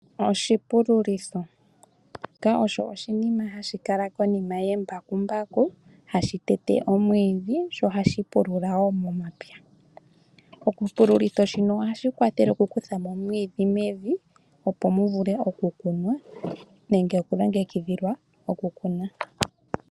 Oshipululitho , shika osho oshinima hashikala konima yembakumbaku hashitete omwiidhi sho ohashipulula wo momapya, oshipululitho shino ohashikwathele okukuthamo omwidhi mevi opo muvule okukunwa nenge oku longekidhilwa okukuna.